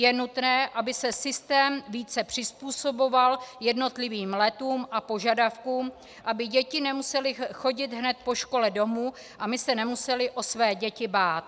Je nutné, aby se systém více přizpůsoboval jednotlivým letům a požadavkům, aby děti nemusely chodit hned po škole domů a my se nemuseli o své děti bát.